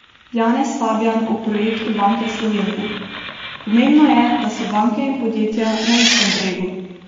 Janez Fabijan o projektu Banke Slovenije: "Pomembno je, da so banke in podjetja na istem bregu".